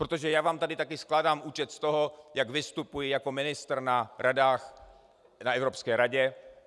Protože já vám tady taky skládám účet z toho, jak vystupuji jako ministr na radách, na Evropské radě.